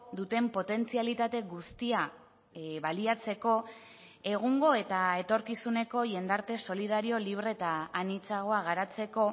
duten potentzialitate guztia baliatzeko egungo eta etorkizuneko jendarte solidario libre eta anitzagoa garatzeko